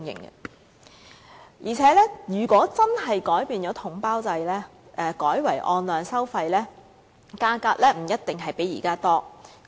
況且，如果真的改變統包制，改為按量收費，價格不一定比現時便宜。